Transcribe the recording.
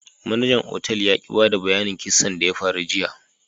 Manajar otal ya ki bada bayyanin kissan da ya faru jiya.